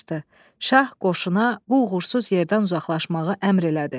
Şah qoşuna bu uğursuz yerdən uzaqlaşmağı əmr elədi.